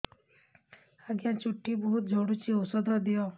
ଆଜ୍ଞା ଚୁଟି ବହୁତ୍ ଝଡୁଚି ଔଷଧ ଦିଅ